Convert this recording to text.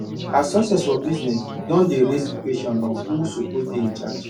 her success for business don dey raise question of who suppose dey in charge